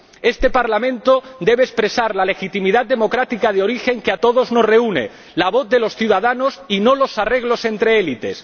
Este Parlamento debe expresar la legitimidad democrática de origen que a todos nos reúne la voz de los ciudadanos, y no los arreglos entre élites.